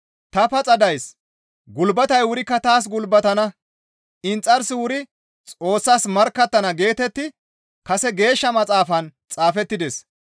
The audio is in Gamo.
«Ta paxa days; gulbatey wurikka taas gulbatana. Inxarsi wuri Xoossas markkattana» geetetti kase Geeshsha Maxaafan xaafettides.